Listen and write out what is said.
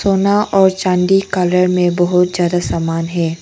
सोना और चांदी कलर में बहोत ज्यादा समान है।